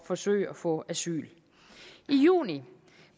forsøge at få asyl i juni